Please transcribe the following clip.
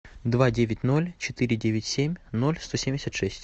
два девять ноль четыре девять семь ноль сто семьдесят шесть